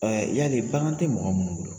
Ɛɛ yali bagan tɛ mɔgɔ minnu bolo.